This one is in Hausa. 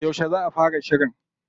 Yauce za a fara shirin?